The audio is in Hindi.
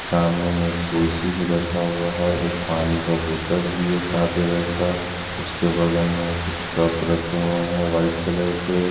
सामने में कुर्सी भी रखा हुआ है एक पानी का बोतल भी है साथ में रखा उसके बगल में कुछ कप रखे हुए हैं व्हाईट कलर के।